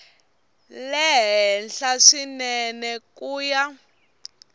le henhla swinene ku ya